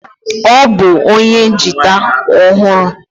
Ọ bụ onye jita ọhụrụ.